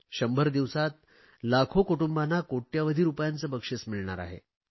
100 दिवसांत लाखो कुटुंबांना कोट्यवधी रुपयांचे बक्षिस मिळणार आहे